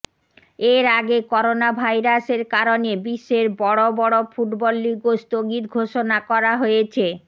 এর আগে করোনাভাইরাসের কারণে বিশ্বের বড় বড় ফুটবল লিগও স্থগিত ঘোষণা করা হয়েছে